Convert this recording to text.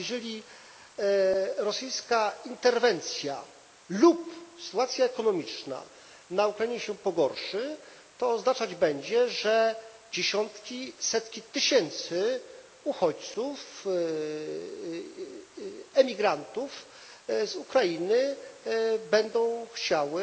Jeżeli rosyjska interwencja lub sytuacja ekonomiczna na Ukrainie się pogorszy, to oznaczać będzie, że dziesiątki, setki tysięcy uchodźców, emigrantów z Ukrainy będą chciały